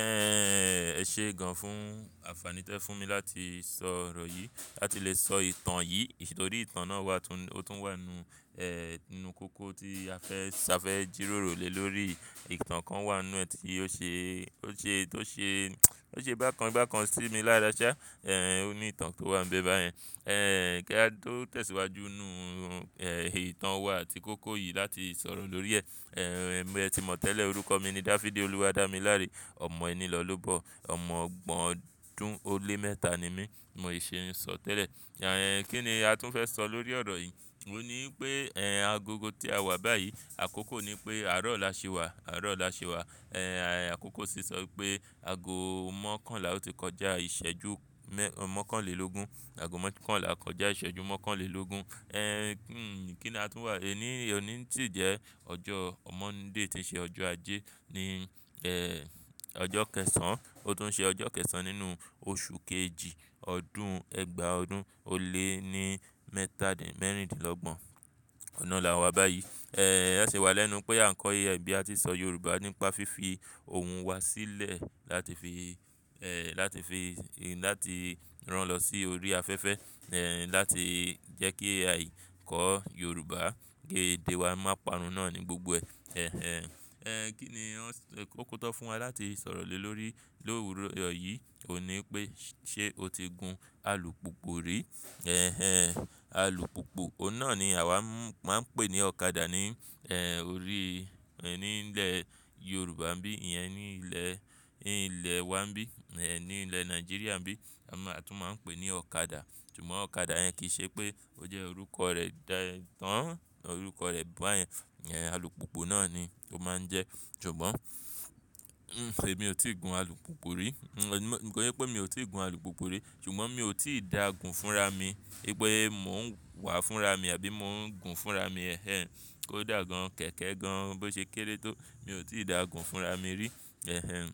Ẹ̀ ṣe gan fún àǹfàní tí ẹ fún mi láti sọ ọ̀rọ̀ yìí, láti lè sọ ìtàn yìí, nítorí ìtàn náà wà tún, ó tún wà nínú, ẹ́, inú kókó tí a fẹ́, a fẹ́ jìròrò lè lórí ìtàn kan wà nínú ẹ́ tí ó ṣe, ó ṣe, tó ṣe, tó ṣe bákan bákan sí mi lára ṣá. Ẹ̀, ó ní ìtàn tó wà níbẹ̀ báyẹn. Ẹ̀, kí a tó tẹ̀síwájú nínú, ẹ́, ìtàn wa àti kókó yìí láti sọ̀rọ̀ lórí ẹ́. Ẹ̀, ẹbí ẹ ti mọ̀ tẹ́lẹ̀ orúkọ mi ni Dáfídì Olúwadámiláre, ọmọ ẹni lọ́'lóòbó, ọmọ ọgbọ̀n ọdún ó lé mẹ́ta ni mí, mo ì ṣe ń sọ tẹ́lẹ̀. Ẹ̀, kí ni a tún fẹ́ sọ lórí ọ̀rọ̀ yìí? Ó ní pé, ẹ́, agogo tí a wà báyìí, àkókò ni pé àárọ̀ ọ̀la ṣe wà, àárọ̀ ọ̀la ṣe wà. Ẹ̀, àkókò sì sọ pé ago mọ́kànlá ó ti kọjá ìṣẹ́jú mẹ́-- mọ́kànlélógún. Ago mọ́kànlá kọjá ìṣẹ́jú mọ́kànlélógún. Ẹ̀, kí ni a tún wà? E ní, òní sì jẹ́ ọjọ́ mọ́ndẹ tí ń ṣe ọjọ́ ajé ní, ẹ́, ọjọ́ kẹsàn-án. Ó tún ṣe ọjọ́ kẹsàn-án nínú oṣù kejì, ọdún ẹgbàá ọdún ó lé ní mẹ́tàdínlọ́gbọ̀n. Ọ̀nà náà là wà báyìí. Ẹ̀, ẹ ṣe wà lẹ́nu pé à ń kọ iye ẹ̀ bí a tí ń sọ Yorùbá nípa fífi ohun wa sílẹ̀ láti fi, ẹ́, láti fi, láti rán lọ sí orí afẹ́fẹ́, ẹ́, láti jẹ́ kí àì kọ Yorùbá gé èdè wa máa parun náà ní gbogbo ẹ. Ẹ̀, ẹ́, kí ni ó kún tó fún wa láti sọ̀rọ̀ lè lórí, lórí òwúrọ̀ yìí ò ní pé ṣé o ti gun alùpùpù rí? Ẹ̀, ẹ́, alùpùpù, ọ̀nà ni àwa máa ń pè ní ọ̀kadà ni, ẹ́, orí, ní ilẹ̀ Yorùbá bí, ìyẹn ní ilẹ̀, ní ilẹ̀ wa bí, ẹ́, ní ilẹ̀ Nàìjíríà bí, a tún máa ń pè ní ọ̀kadà. Ṣùgbọ́n ọ̀kadà yẹn kì í ṣe pé ó jẹ́ orúkọ rẹ̀ dára, tọ́, orúkọ rẹ̀ bọ́ ayẹn. Ẹ̀, alùpùpù náà ni ó máa ń jẹ́. Ṣùgbọ́n, ẹ́, èmi ò tí ì gun alùpùpù rí. Nígbà yẹn pé mi ò tí ì gun alùpùpù rí, ṣùgbọ́n mi ò tí ì dá gun fún ra mi. Nípe mò ń wà fún ra mi àbí mò ń gun fún ra mi. Ẹ̀, ẹ́, kó dà gan, kẹ̀kẹ́ gan, bó ṣe kéré tó, mi ò tí ì dá gun fún ra mi rí. Ẹ̀, ẹ́,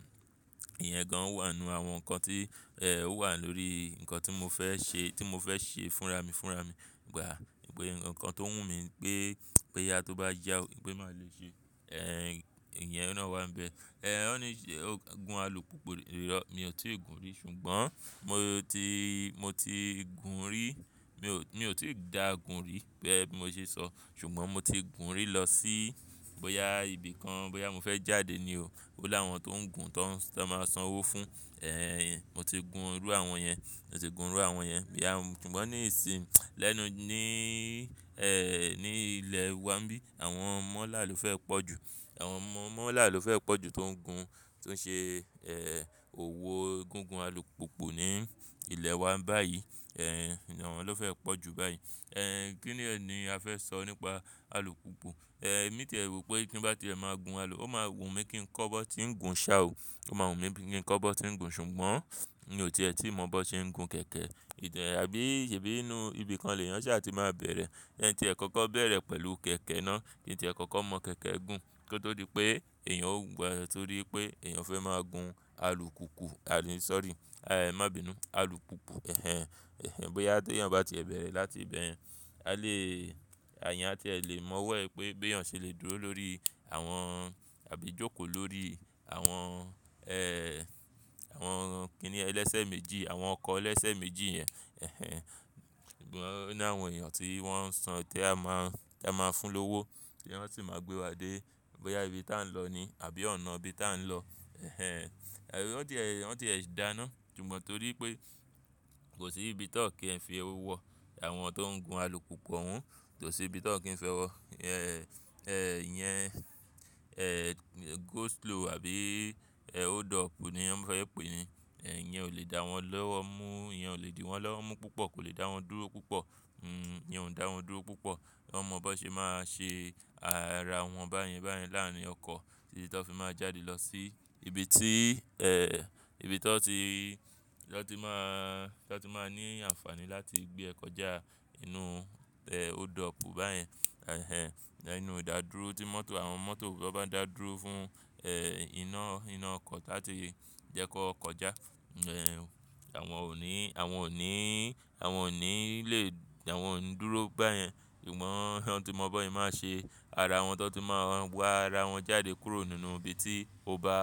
ìyẹn gan wà nínú àwọn nǹkan tí, ẹ́, ó wà lórí nǹkan tí mo fẹ́ ṣe, tí mo fẹ́ ṣe fún ra mi fúnra mi gbà. Pe nǹkan tó wù mí pé, pé yá tó bá yá, pé máa lè ṣe, ẹ́, ìyẹn náà wà níbẹ̀. Ẹ̀, ó ní, gun alùpùpù iro. Mi ò tí ì gun rí, ṣùgbọ́n mo ti, mo ti gun rí. Mi ò, mi ò tí ì dá gun rí bẹ́ẹ̀ bí mo ṣe sọ. Ṣùgbọ́n mo ti gun rí lọ sí bóyá ibi kan, bóyá mo fẹ́ jáde ni o. Ó láwọn tó ń gun tó máa san owó fún. Ẹ̀, ẹ́, mo ti gun irú àwọn yẹn. Mo ti gun irú àwọn yẹn. Ṣùgbọ́n ní ìsìn, lẹ́nu, ní, ẹ́, ní ilẹ̀ wa bí, àwọn mọ́là ló fẹ́ pọ̀ ju. Àwọn mọ́là ló fẹ́ pọ̀ ju tó ń gun, tó ń ṣe, ẹ́, òwò gúgun alùpùpù ní ilẹ̀ wa báyìí. Ẹ̀, ẹ́, àwọn ló fẹ́ pọ̀ ju báyìí. Ẹ̀, ẹ́, kí ni ẹ́ ni a fẹ́ sọ nípa alùpùpù? Ẹ̀, èmi tẹ̀ wí pé kí bá ti ẹ máa gun alùpùpù, ó máa wù mí kí ń kọ́ bó tí ń gun ṣá o. Ó máa wù mí bí kí ń kọ́ bó tí ń gun. Ṣùgbọ́n mi ò tìẹ́ tí mọ̀ bó tí ń gun kẹ̀kẹ́. Ìtẹ̀ àbí ṣe bí inú ibi kan lè yàn ṣá ti máa bẹ̀rẹ̀. Je ti ẹ kọ́kọ́ bẹ̀rẹ̀ pẹ̀lú kẹ̀kẹ́ náà kí tí ẹ kọ́kọ́ mọ̀ kẹ̀kẹ́ gùn. Kí ó tó di pé èèyàn ó gba, torí pé èèyàn fẹ́ máa gun alùpùpù, àbí, sorry, àì má bí inú, alùpùpù. Ẹ̀, ẹ́, bóyá tó yàn bá ti ẹ bẹ̀rẹ̀ láti ibẹ̀. A lè, àyà tí ẹ lè mọ̀ wẹ́ pé bí èèyàn ṣe lè dúró lórí àwọn àbí jókòó lórí àwọn, ẹ́, àwọn kí ni ẹ lẹ́sẹ̀ méjì, àwọn ọkọ̀ lẹ́sẹ̀ méjì yẹn. Ẹ̀, ẹ́, ṣùgbọ́n, ó ní àwọn èèyàn tí wọ́n ń san, tí a máa, tí a máa fún lówó, tí wọn sì máa gbé wa dé bóyá ibi tí à ń lọ ni àbí ọ̀nà bí tí à ń lọ. Ẹ̀, ẹ́, àbí ó ti ẹ, ó ti ẹ sì dáná. Ṣùgbọ́n torí pé kò sí ibi tó kí ẹ fi owó wọ àwọn tó ń gun alùpùpù wọn. Kò sí ibi tó kí n fi ẹ wọ. Ẹ̀, ẹ́, ìyẹn, ẹ́, go slow àbí, ẹ́, hold up ni wọ́n fẹ́ pè ẹ́. Ẹ̀, yẹn ò lè dá wọn lọ́wọ́ mú. Ìyẹn ò lè dì wọ́n lọ́wọ́ mú púpọ̀, kò lè dá wọn dúró púpọ̀. Ẹ̀, yẹn ò ń dá wọn dúró púpọ̀. Wọ́n mọ bó ṣe máa ṣe ara wọn báyẹn báyẹn láàárín ọkọ̀ tí tí ẹ fi máa jáde lọ sí ibi tí, ẹ́, ibi tí ẹ tó ti, ẹ tó ti máa, ẹ tó ti máa ní àǹfààní láti gbé ẹ kọjá inú, ẹ́, hold up báyẹn. Ẹ̀, ẹ́, inú ìdádúró tí mọ́tò, àwọn mọ́tò bá ń dàdúró fún, ẹ́, iná, iná ọkọ̀ láti jẹ́ kó kọjá e. Ẹ̀, ẹ́, àwọn ò ní, àwọn ò ní, àwọn ò ní lè, àwọn ò ń dúró báyẹn. Àmọ́, wọn ti mọ bó ẹ máa ṣe ara wọn, wọn tó ti máa wá ara wọn jáde kúrò nínú ibi tí ó bá.